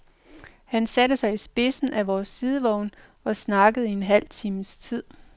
Han satte sig på spidsen af vores sidevogn og snakkede i en halv times tid.